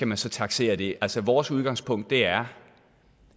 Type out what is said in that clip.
man skal taksere det altså vores udgangspunkt er